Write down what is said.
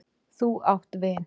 Þú átt vin!